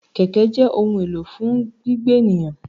Kẹ̀kẹ́ jẹ́ ohun èlò fún gbígbé ènìyàn.